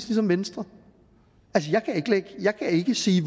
ligesom venstre jeg kan ikke sige